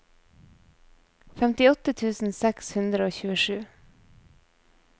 femtiåtte tusen seks hundre og tjuesju